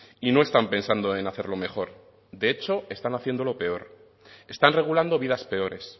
y no están pensando en hacerlo mejor de hecho están haciéndolo peor están regulando vidas peores